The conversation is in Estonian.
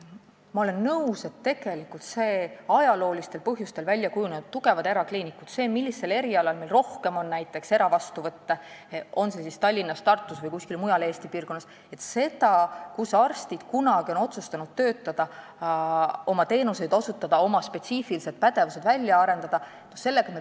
Ma olen nõus, et tegelikult me peaksime praegu arvestama nende ajaloolistel põhjustel väljakujunenud tugevate erakliinikutega: sellega, millisel erialal on meil näiteks rohkem eravastuvõtte, olgu Tallinnas, Tartus või kuskil mujal Eesti piirkonnas, sellega, kus arstid on kunagi otsustanud töötama, oma teenuseid osutama ja oma spetsiifilisi pädevusi välja arendama hakata.